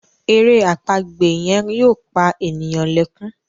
èrè àpagbè yen yóò pá ènìyàn lè kún.